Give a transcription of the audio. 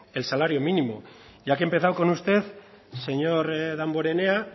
el salario mínimo ya que he empezado con usted señor damborenea